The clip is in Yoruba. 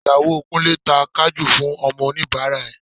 Ìyàwó Kúnlé ta Kajú fún àwọn oníbàárà rẹ̀